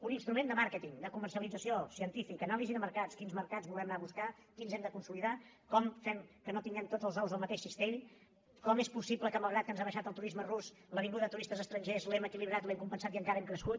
un instrument de màrqueting de comercialització científic anàlisi de mercats quins mercats volem anar a buscar quins hem de consolidar com fem que no tinguem tots els ous al mateix cistell com és possible que malgrat que ens ha baixat el turisme rus la vinguda de turistes estrangers l’hem equilibrat l’hem compensat i encara hem crescut